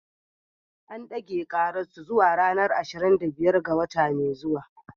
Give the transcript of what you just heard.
An dage karar su zuwa ranar ashirin da biyar ga wata mai zuwa.